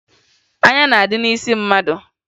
Anya na-adị n'isi mmadụ